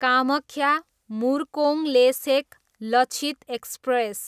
Kamakhya, Murkongselek Lachit express